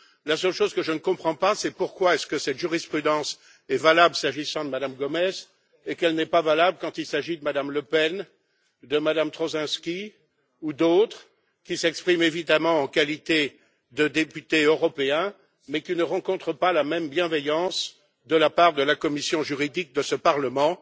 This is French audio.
La seule chose que je ne comprends pas, c'est pourquoi cette jurisprudence est valable s'agissant de Mme Gomez et qu'elle ne l'est pas quand il s'agit de Mme Le Pen, de Mme Troszczynski ou d'autres qui s'expriment, évidemment, en qualité de député européen, mais qui ne rencontrent pas la même bienveillance de la part de la commission juridique de ce Parlement.